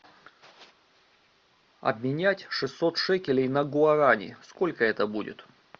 обменять шестьсот шекелей на гуарани сколько это будет